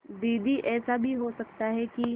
दीदी ऐसा भी तो हो सकता है कि